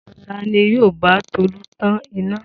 Ta ni yóò bá Tolú tan iná?